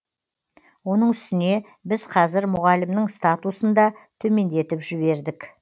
оның үстіне біз қазір мұғалімнің статусын да төмендетіп жібердік